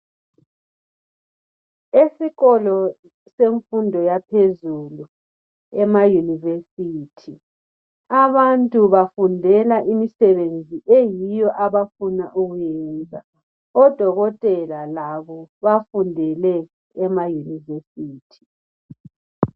Esikolo semfundo yaphezulu yamayiunivesithi abantu bafundela imisebenzi abafuna ukuyenza. Odokotela labo bafundele emayunivesithi.